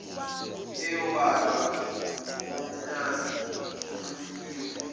eyobalwa ngokwamanani anqunyiwe